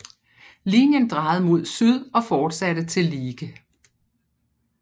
Linjen drejede mod syd og fortsatte til Liege